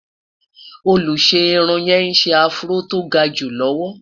olusegun irún yé sè afro tó gaju lọwọ